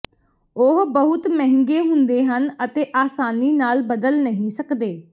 ਉਹ ਬਹੁਤ ਮਹਿੰਗੇ ਹੁੰਦੇ ਹਨ ਅਤੇ ਆਸਾਨੀ ਨਾਲ ਬਦਲ ਨਹੀਂ ਸਕਦੇ